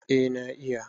eh na iya